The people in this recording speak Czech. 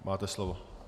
Máte slovo.